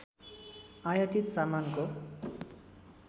आयातित सामानको